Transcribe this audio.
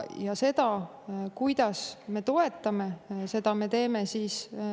Ja kuidas me seda toetame?